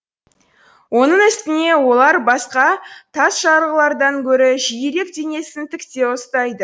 оның үстіне олар басқа тасжарғылардан гөрі жиірек денесін тіктеу ұстайды